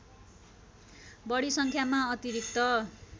बढी सङ्ख्यामा अतिरिक्त